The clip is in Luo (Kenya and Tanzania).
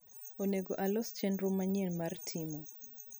onego alos chenro manyien mar timo